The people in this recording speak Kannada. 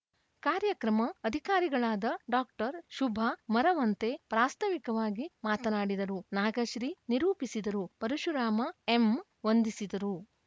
ಕಾರ್ಯಕ್ರಮ ಅಧಿಕಾರಿಗಳಾದ ಡಾಕ್ಟರ್ ಶುಭಾ ಮರವಂತೆ ಪ್ರಾಸ್ತಾವಿಕವಾಗಿ ಮಾತನಾಡಿದರು ನಾಗಶ್ರೀ ನಿರೂಪಿಸಿದರು ಪರಶುರಾಮ ಎಂ ವಂದಿಸಿದರು